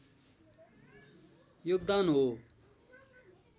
योगदान हो।